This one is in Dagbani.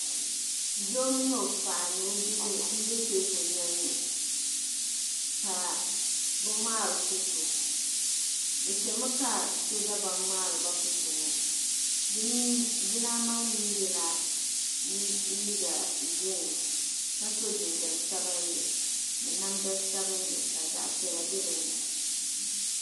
Doo mini o paɣa ni o bihi n be teeku noli ni kaa bɛ ŋmaari foto bɛ chami ka so dabam ŋmaari ba foto ŋɔ dimi dilan ye liiga girin ka so ginjam sabinli ni namda sabinli ka zaɣa piɛla be dini